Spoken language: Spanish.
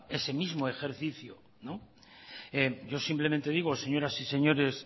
ese mismo ejercicio yo simplemente digo señoras y señores